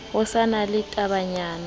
ho sa na le tabanyana